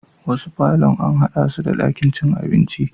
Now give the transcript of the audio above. Wasu parlourn an haɗa su da ɗakin cin abinci